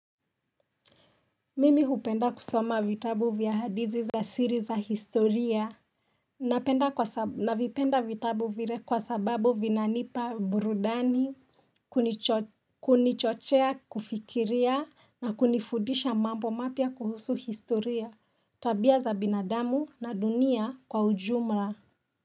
Mimi hupenda kusoma vitabu vya hadithi za siri za historia Navipenda vitabu vile kwa sababu vinanipa burudani Kunichochea kufikiria na kunifudisha mambo mapya kuhusu historia tabia za binadamu na dunia kwa ujumla.